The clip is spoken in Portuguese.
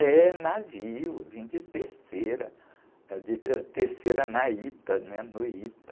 É, navio, vim de terceira, ãh, de terceira na Ita, né? No Ita.